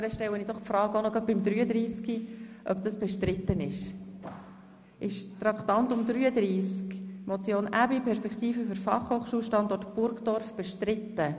Deshalb stelle ich die Frage gleich für das Traktandum 33. Ist die Motion «Perspektiven für den Fachhochschulstandort Burgdorf» bestritten?